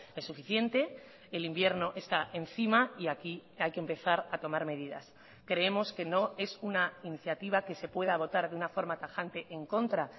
es suficiente el invierno está encima y aquí hay que empezar a tomar medidas creemos que no es una iniciativa que se pueda votar de una forma tajante en contra